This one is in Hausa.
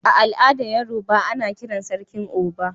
A al'adan Yorubawa, ana kiran sarkin"Oba."